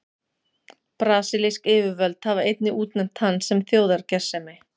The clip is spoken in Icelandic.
Brasilísk yfirvöld hafa einnig útnefnt hann sem þjóðargersemi.